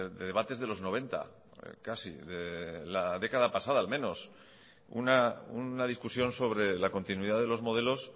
de debates de los noventa casi de la década pasada al menos una discusión sobre la continuidad de los modelos